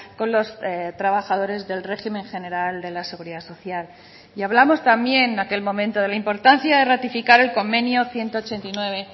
con los trabajadores del régimen general de la seguridad social y hablamos también aquel momento de la importancia de ratificar el convenio ciento ochenta y nueve